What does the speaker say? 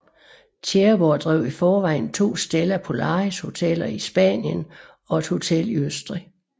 Tjæreborg drev i forvejen to Stella Polaris hoteller i Spanien og et hotel i Østrig